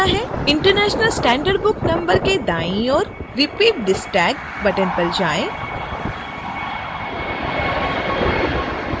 international standard book number के दाईं ओर repeat this tag button पर जाएँ